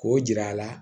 K'o jira a la